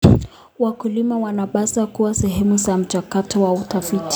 Wakulima wanapaswa kuwa sehemu ya mchakato wa utafiti.